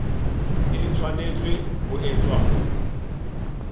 e tshwanetse ho etswa ho